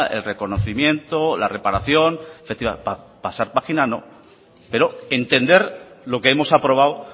el reconocimiento la reparación pasar página no pero entender lo que hemos aprobado